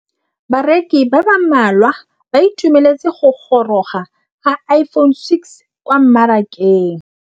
Bareki ba ba malwa ba ituemeletse go gôrôga ga Iphone6 kwa mmarakeng.